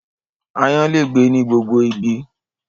Aáyán lè gbé ní gbogbo ibi